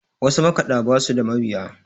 wasu makaɗa ba su da mabiya